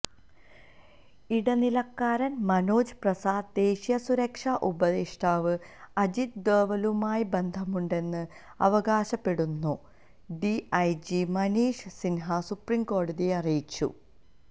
ഇടനിലക്കാരൻ മനോജ് പ്രസാദ് ദേശീയ സുരക്ഷാ ഉപദേഷ്ടാവ് അജിത് ഡോവലുമായി ബന്ധമുണ്ടെന്ന് അവകാശപ്പെട്ടെന്നും ഡിഐജി മനീഷ് സിൻഹ സുപ്രീംകോടതിയെ അറിയിച്ചു